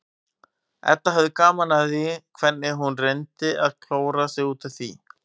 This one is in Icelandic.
Edda hafði gaman af því hvernig hún reyndi að klóra sig út úr því.